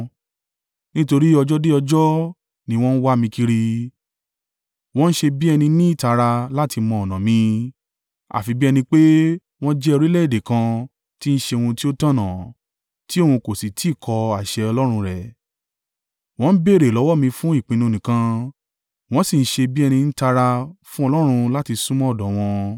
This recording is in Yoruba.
Nítorí ọjọ́ dé ọjọ́ ni wọ́n ń wá mi kiri; wọ́n ṣe bí ẹni ní ìtara láti mọ ọ̀nà mi, àfi bí ẹni pé wọ́n jẹ́ orílẹ̀-èdè kan tí ń ṣe ohun tí ó tọ̀nà tí òun kò sì tí ì kọ àṣẹ Ọlọ́run rẹ̀. Wọ́n ń béèrè lọ́wọ́ mi fún ìpinnu nìkan wọ́n sì ṣe bí ẹni ń tara fún Ọlọ́run láti súnmọ́ ọ̀dọ̀ wọn.